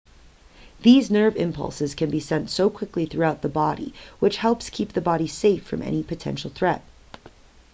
these nerve impulses can be sent so quickly throughout the body which helps keep the body safe from any potential threat